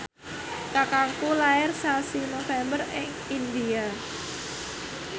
kakangku lair sasi November ing India